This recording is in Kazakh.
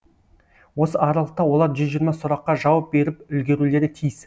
осы аралықта олар жүз жиырма сұраққа жауап беріп үлгерулері тиіс